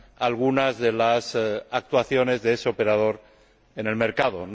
algunas de las actuaciones de ese operador en el mercado.